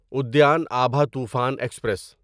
ادیان ابھا طوفان ایکسپریس